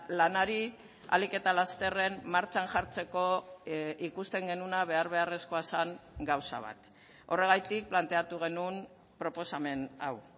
lanari ahalik eta lasterren martxan jartzeko ikusten genuena behar beharrezkoa zen gauza bat horregatik planteatu genuen proposamen hau